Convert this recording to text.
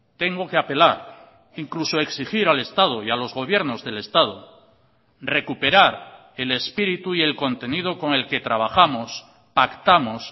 tengo que apelar incluso exigir al estado y a los gobiernos del estado recuperar el espíritu y el contenido con el que trabajamos pactamos